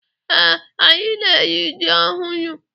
Ee, anyị na-eri ji ọhụrụ.